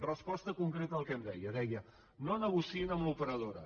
resposta concreta al que em deia deia no negociïn amb l’operadora